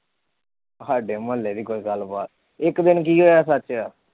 ਸਾਡੇ ਮਹੁੱਲੇ ਦੀ ਕੋਈ ਗੱਲਬਾਤ ਇੱਕ ਦਿਨ ਕੀ ਹੋਇਆ ਸੱਚ।